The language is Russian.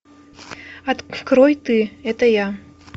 открой ты это я